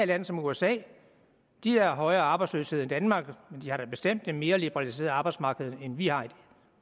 land som usa de har højere arbejdsløshed end danmark men de har da bestemt et mere liberaliseret arbejdsmarked end vi har